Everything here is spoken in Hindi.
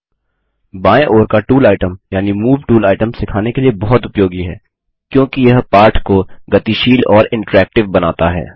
बाएँ ओर का टूल आइटम यानि मूव टूल आइटम सिखाने के लिए बहुत उपयोगी है क्योंकि यह पाठ को गतिशील और इंटरैक्टिव बनाता है